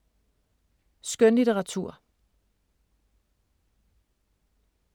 Skønlitteratur